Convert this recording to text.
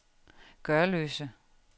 Gørløse